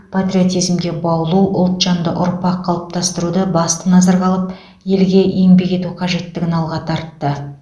патриотизмге баулу ұлтжанды ұрпақ қалыптастыруды басты назарға алып елге еңбек ету қажеттігін алға тартты